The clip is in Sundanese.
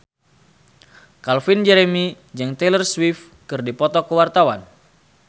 Calvin Jeremy jeung Taylor Swift keur dipoto ku wartawan